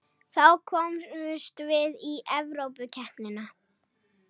Þá komumst við í Evrópukeppnina